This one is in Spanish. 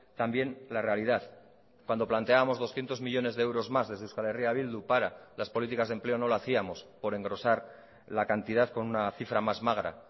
también la realidad cuando planteábamos doscientos millónes de euros más desde euskal herria bildu para las políticas de empleo no lo hacíamos por engrosar la cantidad con una cifra más magra